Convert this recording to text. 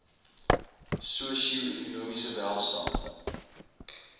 sosio ekonomiese welstand